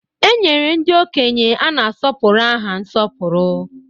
E nyere ndị okenye a na-asọpụrụ aha nsọpụrụ.